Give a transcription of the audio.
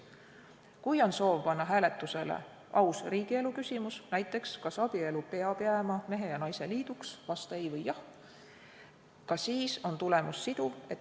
Kui on soov panna hääletusele aus riigielu küsimus, näiteks, kas abielu peab jääma mehe ja naise liiduks, vasta "ei" või "jah", ka siis on tulemus siduv.